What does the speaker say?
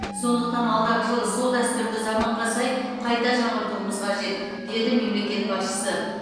сондықтан алдағы жылы сол дәстүрді заманға сай қайта жаңғыртуымыз қажет деді мемлекет басшысы